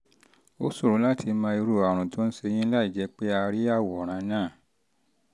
ó ṣòro láti mọ irú àrùn tó ń ṣe yín láìjẹ́ pé a rí àwòrán náà